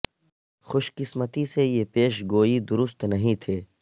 خوش قسمتی سے یہ پیش گوئی درست نہیں تھے